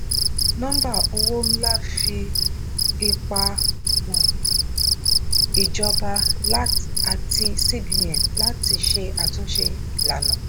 nọ́mbà owó ńlá fi ipa mọ̀ ìjọba àti cbn láti ṣe àtúnṣe ìlànà.